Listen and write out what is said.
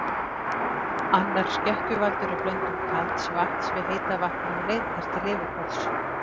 Annar skekkjuvaldur er blöndun kalds vatns við heita vatnið á leið þess til yfirborðs.